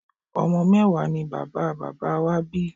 Ọmọ mẹ́wàá ni bàbá bàbá wá bí